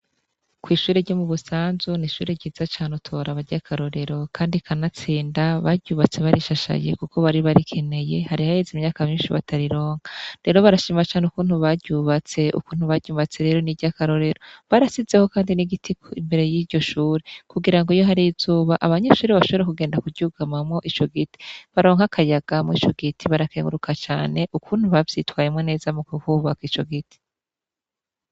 Kw'ishure ryo mu busanzu n'ishure ryiza cane utora abarya akarorero, kandi kanatsinda baryubatse barishashaye, kuko bari barikeneye hari haheze imyaka minshi batarironka rero barashima cane ukuntu baryubatse ukuntu baryubatse rero n'iryo akarorero barasizeho, kandi n'igitik imbere y'iryo shure kugira ngo iyo hari o zuba abanyeshure bashora kugenda kuryugamamwo ico giti baronke akayagamo ico giti barakenguruka cane ukuntu bavyitwayemo neza mu guhubaka ico giti.